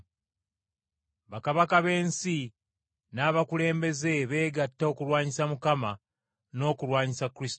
Bakabaka b’ensi n’abakulembeze, beegatta okulwanyisa Mukama n’okulwanyisa Kristo we.’